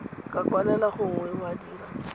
ka kwalela gongwe wa dira